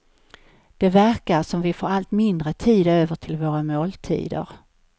Det verkar som om vi får allt mindre tid över till våra måltider.